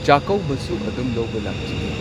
ꯆꯥꯀꯧꯕꯁꯨ ꯑꯗꯨꯝ ꯂꯧꯕ ꯂꯥꯛꯆꯒꯦ꯫